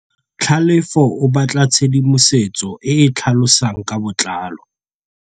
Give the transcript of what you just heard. Tlhalefô o batla tshedimosetsô e e tlhalosang ka botlalô.